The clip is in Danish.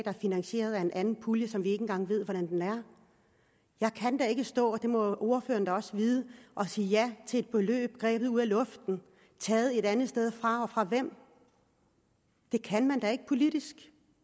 er finansieret af en pulje som vi ikke engang ved hvordan er jeg kan ikke stå det må ordføreren da også vide og sige ja til et beløb grebet ud af luften taget et andet sted fra og fra hvem det kan man da ikke politisk